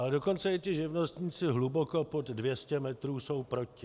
Ale dokonce i ti živnostníci hluboko pod 200 metrů jsou proti.